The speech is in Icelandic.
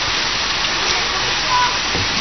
Best að skjótast inn og hringja á leigubíl.